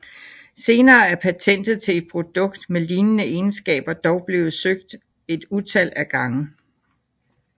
Senere er patentet til et produkt med lignende egenskaber dog blevet søgt et utal af gange